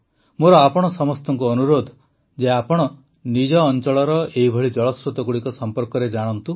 ମୋର ଆପଣ ସମସ୍ତଙ୍କୁ ଅନୁରୋଧ ଯେ ଆପଣ ନିଜ ଅଂଚଳର ଏହିଭଳି ଜଳସ୍ରୋତଗୁଡ଼ିକ ସମ୍ପର୍କରେ ଜାଣନ୍ତୁ